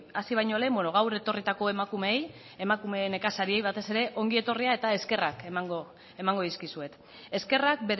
hasi baino lehen beno gaur etorritako emakumeei emakume nekazariei batez ere ongi etorria eta eskerrak emango dizkizuet eskerrak